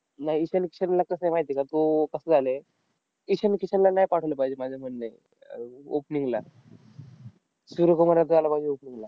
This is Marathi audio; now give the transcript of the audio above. नाही. ईशान किशनला कसं आहे माहिती आहे का? तो कसं झालंय? ईशान किशनला नाही पाठवलं पाहिजे माझ्या म्हणणे अह opening ला. सूर्य कुमार यादव आला पाहिजे opening ला.